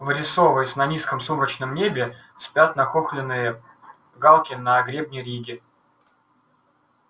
вырисовываясь на низком сумрачном небе спят нахохленные галки на гребне риги